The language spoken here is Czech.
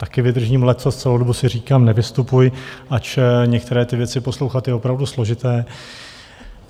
Taky vydržím leccos, celou dobu si říkám, nevystupuj, ač některé ty věci poslouchat je opravdu složité.